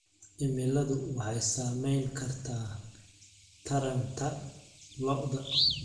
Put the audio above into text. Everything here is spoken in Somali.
Cimiladu waxay saameyn kartaa taranta lo'da.